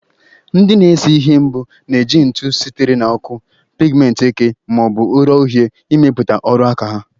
Ndị na-ese ihe mbụ na-eji ntụ sitere na ọkụ, pigmenti eke ma ọ bụ ụrọ uhie imeputa oru aka ha